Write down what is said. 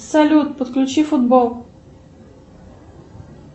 салют подключи футбол